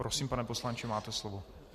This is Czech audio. Prosím, pane poslanče, máte slovo.